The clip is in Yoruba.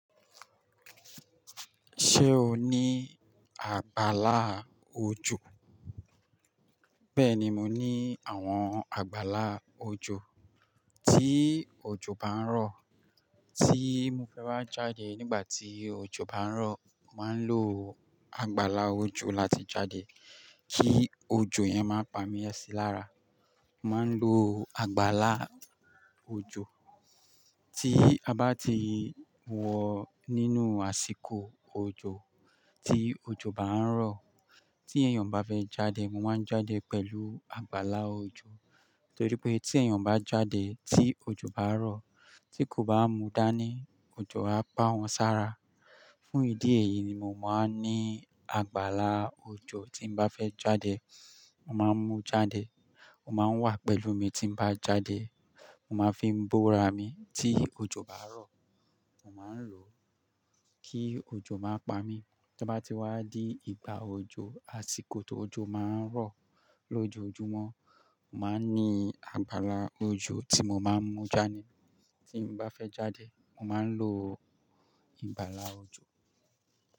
Ṣé o ní àgbàlá òjò? Bẹ́ẹ̀ni, mo ní àwọn àgbàlá òjò. Tí òjò bá ń rọ̀, tí mo fẹ́ bá jáde nígbà tí òjò bá ń rọ̀, màá ń lo àgbàlá òjò láti jáde kí òjò yẹn má pa mí ẹsẹ̀ lára. Màá ń lo àgbàlá òjò tí a bá ti wọ̀ nínú àsìkò òjò, tí òjò bá ń rọ̀. Tí èèyàn bá fẹ́ jáde, mo máa ń jáde pẹ̀lú àgbàlá òjò torí pé tí èèyàn bá jáde tí òjò bá rọ̀, tí kò bá mu dání, òjò á pa wọn sára. Fún ìdí èyí ni mo máa ń ní àgbàlá òjò tí bá fẹ́ jáde. Mo máa ń mú jáde, ó máa ń wà pẹ̀lú mi tí bá jáde. Mo máa fi ń búra mi tí òjò bá rọ̀. Mo máa ń lò ó kí òjò má pa mí. To ó bá ti wá di ìgbà òjò, àsìkò tí òjò má ń rọ̀ lójoojúmọ́, màá ń ní àgbàlá òjò tí mo máa ń mú jáde. Tí bá fẹ́ jáde, màá ń lo ìgbàlá òjò.